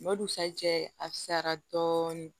N'o dusu jɛ a fisayara dɔɔnin